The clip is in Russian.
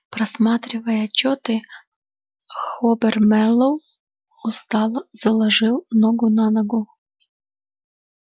просматривая отчёты хобер мэллоу устало заложил ногу на ногу